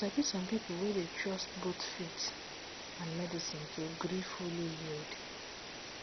you sabi some people dey trust both faith and medicine to gree fully healed